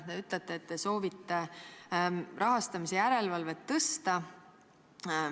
Te ütlete, et te soovite rahastamise järelevalvet parandada.